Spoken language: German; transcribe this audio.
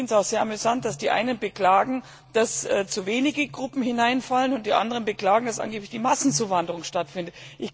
Ich finde es auch sehr amüsant, dass die einen beklagen, dass zu wenige Gruppen hineinfallen, und die anderen beklagen, dass angeblich eine Massenzuwanderung stattfindet.